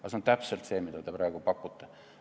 See on täpselt see, mida te praegu pakute.